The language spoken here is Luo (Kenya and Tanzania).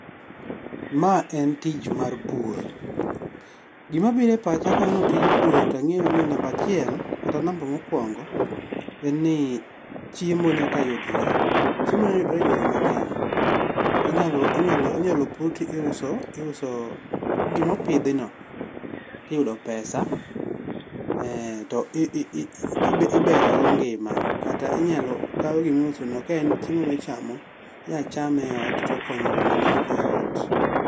Ma en etich mar pur. Gima biro epacha kaneno tij pur to ang'eyoni namba achiel kata namba mokuongo, en nii chiemo nyaka yudore chiemo nyalo yudore eyore mang'eny inyalo pur ti iuso gima opidhno to iyudo pesa ee to ii iberogo ngima kata inyalo kaw gima iuso ka en chiemo michamo inyalo chame eot tokonyo joma ni e oot.